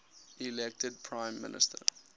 elected prime minister